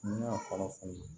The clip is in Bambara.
N'i y'a kɔlɔlɔ fɔlɔ